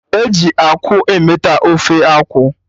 Eji akwụ emeta Ofe akwụ